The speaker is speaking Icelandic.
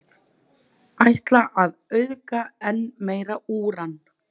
Ætla að auðga enn meira úran